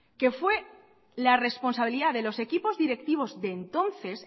que fue la responsabilidad de los equipos directivos de entonces